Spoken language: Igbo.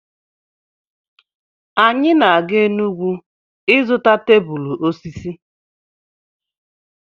Anyị na-aga Enugwu ịzụta tebụl osisi.